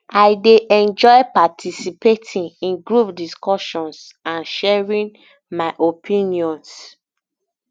i dey enjoy participating in group discussions and sharing my opinions